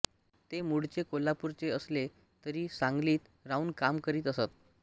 ते मूळचे कोल्हापूरचे असले तरी सांगलीत राहून काम करीत असत